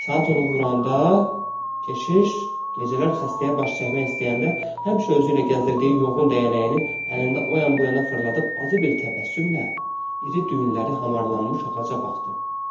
Saat onu vuranda keşiş gecələr xəstəyə baş çəkmək istəyəndə həmişə özü ilə gəzdirdiyi yoğun dəyənəyini əlində o yan-bu yana fırladıb acı bir təbəssümlə iri düyünləri hamarlanmış ağaca baxdı.